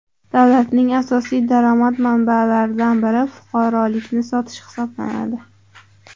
Davlatning asosiy daromad manbalaridan biri fuqarolikni sotish hisoblanadi.